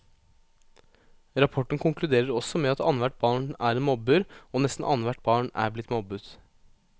Rapporten konkluderer også med at annethvert barn er en mobber, og nesten annethvert barn er blitt mobbet.